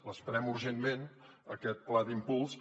l’esperem urgentment aquest pla d’impuls